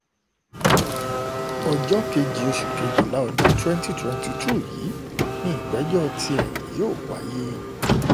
ọjọ́ kejì oṣù kejìlá ọdún twenty twenty yìí ni ìgbẹ́jọ́ tiẹ̀ yóò wáyé